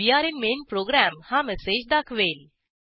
way are in main program हा message दाखवेल